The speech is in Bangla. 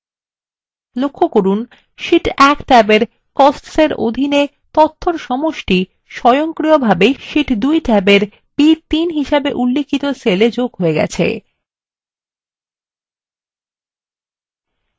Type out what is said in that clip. লক্ষ্য করুন sheet 1 ট্যাবের costs এর অধীনে তথ্যর সমষ্টি স্বয়ংক্রিয়ভাবে sheet 2 ট্যাবের b3 হিসেবে উল্লিখিত cellএ যোগ হয়ে গেছে